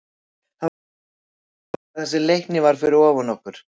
Það var gott að vinna, sérstaklega þar sem Leiknir var fyrir ofan okkur.